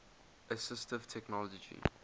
assistive technology